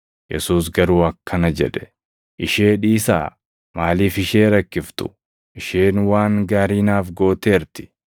Yesuus garuu akkana jedhe; “Ishee dhiisaa. Maaliif ishee rakkiftu? Isheen waan gaarii naaf gooteerti.